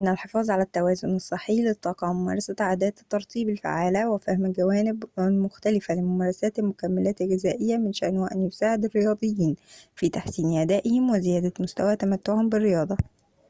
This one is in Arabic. إن الحفاظ على التوازن الصحي للطاقة وممارسة عادات الترطيب الفعّالة وفهم الجوانب المختلفة لممارسات المكملّات الغذائية من شأنه أن يساعد الرياضيين في تحسين أدائهم وزيادة مستوى تمتعهم بالرياضة